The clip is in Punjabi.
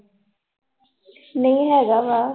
ਨਹੀਂ ਹੈਗਾ ਵਾ।